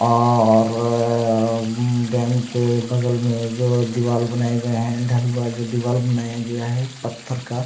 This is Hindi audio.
और अम डेम के बगल में जो दिवार बनाये गये है ढलुवा जो दीवार बनाया गया है पत्थर का--